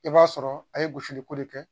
I b'a sɔrɔ a ye gosili ko de kɛ